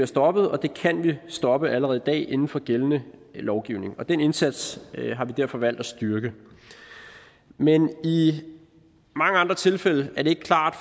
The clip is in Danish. stoppet og det kan vi stoppe allerede i dag inden for gældende lovgivning og den indsats har vi derfor valgt at styrke men i mange andre tilfælde er det ikke klart